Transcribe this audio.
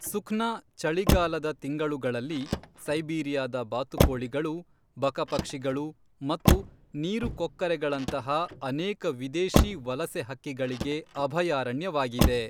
ಸುಖ್ನಾ ಚಳಿಗಾಲದ ತಿಂಗಳುಗಳಲ್ಲಿ ಸೈಬೀರಿಯಾದ ಬಾತುಕೋಳಿಗಳು, ಬಕಪಕ್ಷಿಗಳು ಮತ್ತು ನೀರುಕೊಕ್ಕರೆಗಳಂತಹ ಅನೇಕ ವಿದೇಶಿ ವಲಸೆ ಹಕ್ಕಿಗಳಿಗೆ ಅಭಯಾರಣ್ಯವಾಗಿದೆ.